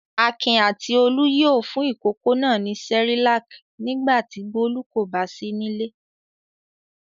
Akin àti Olú yóò fún ìkókó náà ní Cerelac nígbà tí Bólú kò bá sí nílé.